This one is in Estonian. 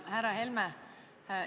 Härra Helme!